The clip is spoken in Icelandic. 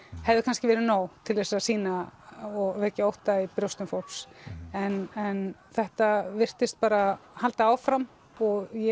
hefði kannski verið nóg til þess að sýna og vekja ótta í brjósti fólks en en þetta virtist bara halda áfram og ég